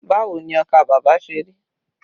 Báwo ni ọkà bàbà ṣe rí?